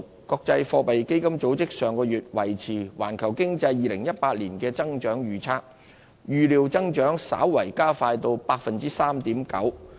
國際貨幣基金組織上月維持對環球經濟2018年的增長預測，預料增長稍為加快至 3.9%。